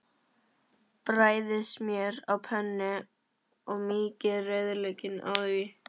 Bræðið smjör á pönnu og mýkið rauðlaukinn í því.